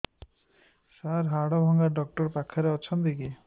ସାର ହାଡଭଙ୍ଗା ଡକ୍ଟର ପାଖରେ ଅଛନ୍ତି କି